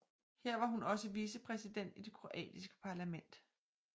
Her var hun også vicepræsident i det kroatiske parlament